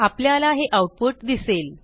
आपल्याला हे आऊटपुट दिसेल